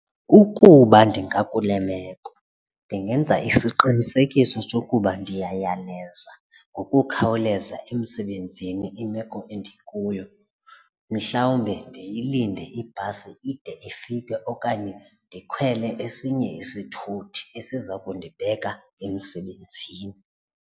Ukuba ndingakule meko ndingenza isiqinisekiso sokuba ndiyayaleza ngokukhawuleza emsebenzini imeko endikuyo, mhlawumbe ndiyilinde ibhasi ide ifike okanye ndikhwele esinye isithuthi esiza kundibeka emsebenzini.